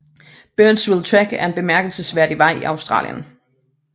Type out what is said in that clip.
Birdsville Track er en bemærkelsesværdig vej i Australien